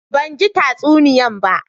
Ban gi tsasuniyan ba